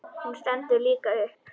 Hún stendur líka upp.